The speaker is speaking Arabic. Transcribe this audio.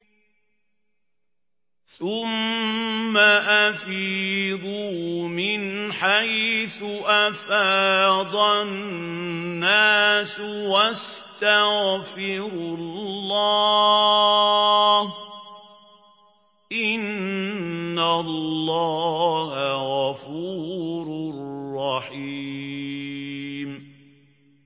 ثُمَّ أَفِيضُوا مِنْ حَيْثُ أَفَاضَ النَّاسُ وَاسْتَغْفِرُوا اللَّهَ ۚ إِنَّ اللَّهَ غَفُورٌ رَّحِيمٌ